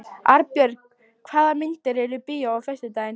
Arnborg, hvaða myndir eru í bíó á föstudaginn?